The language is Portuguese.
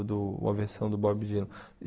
Do uma versão do Bob Dylan.